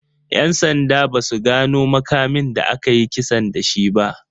'Yan sanda ba su gano makamin da aka yi kisan da shi ba.